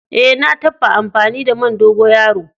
Eh, na tabba amfani da man dogoyaro.